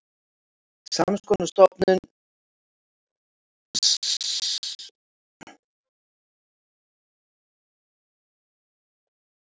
Sams konar hugmynd lá að baki stofnun fríhafnarinnar á Keflavíkurflugvelli og Reykjavíkurflugvelli.